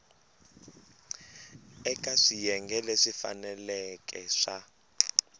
eka swiyenge leswi faneleke swa